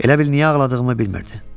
Elə bil niyə ağladığımı bilmirdi.